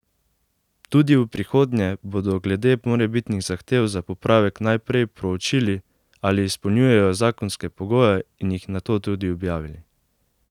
Tudi v prihodnje bodo glede morebitnih zahtev za popravek najprej proučili, ali izpolnjujejo zakonske pogoje, in jih nato tudi objavili.